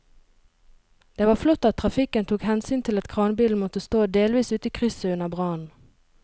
Det var flott at trafikken tok hensyn til at kranbilen måtte stå delvis ute i krysset under brannen.